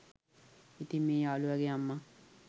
ඉතින් මේ යාළුවගෙ අම්ම